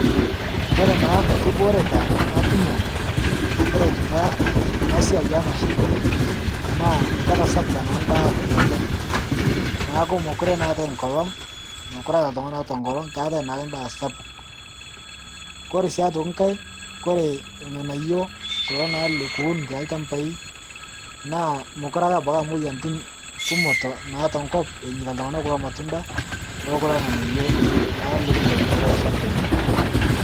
koree naa nkibooreta natumoo agira aitumia anaa siai ee mashininii naa ketasapukaa naa ndaa oleng naaku mokuree naa etai nkolong mokure eata ltunganaa oata nkolong keatai naake ndaa eraa sapuk. kore siake otokii nghai naa kore lghanayoo kulo naa likiwun te lshampai naa mokuree abaki akee eraa moyanitin kumoo naa te nkop enyeitaa ltunganaa kuloo matundaa oo kuloo nghanayoo naa likintai to kuloo shampai.